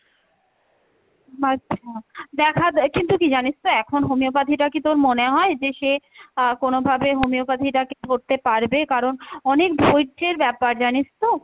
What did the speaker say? আচ্ছা দেখাব, কিন্তু কী জানিস তো এখন homeopathy টা কী তোর মনে হয় যে সে আহ কোনোভাবে homeopathy টাকে করতে পারবে কারণ অনেক ধৈর্যের ব্যাপার, জানিস তো।